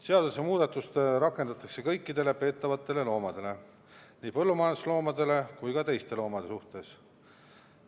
Seadusemuudatust rakendatakse kõikide peetavate loomade suhtes, nii põllumajandusloomade kui ka teiste loomade suhtes.